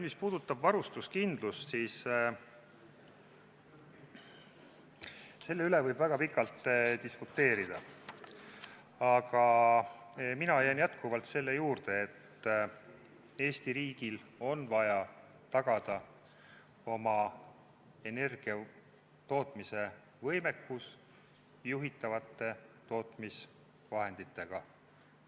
Mis puudutab varustuskindlust, siis selle üle võib väga pikalt diskuteerida, aga mina jään jätkuvalt selle juurde, et Eesti riigil on vaja tagada oma energiatootmise võimekus juhitavate tootmisvahenditega.